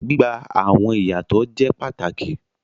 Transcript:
Gbigba awọn iyatọ jẹ pàtàkì